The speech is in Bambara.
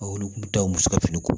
Olu kun tɛ taa muso ka fini ko